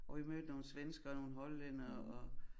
Hvor vi mødte nogle svenskere og nogle hollændere og